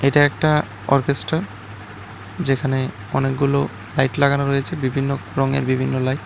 এটা একটা অরকেসটর যেখানে অনেকগুলো লাইট লাগানো রয়েছে বিভিন্ন রঙের বিভিন্ন লাইট ।